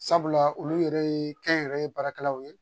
Sabula olu yɛrɛ ye kɛnyɛrɛye baarakɛlaw ye